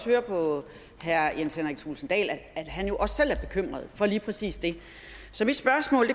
høre på herre jens henrik thulesen dahl at han også selv er bekymret for lige præcis det så mit spørgsmål